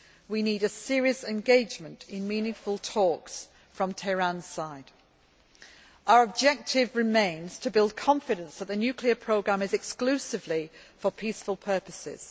We need a serious engagement in meaningful talks from Tehran's side. Our objective remains to build confidence that the nuclear programme is exclusively for peaceful purposes.